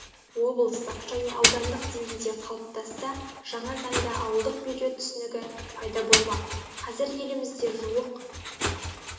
облыстық және аудандық деңгейде қалыптасса жаңа заңда ауылдық бюджет түсінігі пайда болмақ қазір елімізде жуық